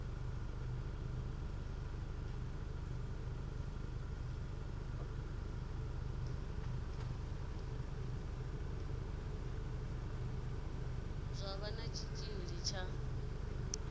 zwa vha na tshitshili tsha